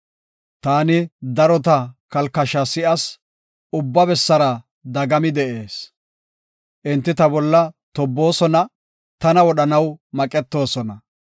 Taani darota kalkashaa si7as; ubba bessara dagami de7ees. Enti ta bolla tobboosona; tana wodhanaw maqetoosona.